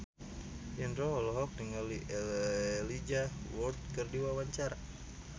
Indro olohok ningali Elijah Wood keur diwawancara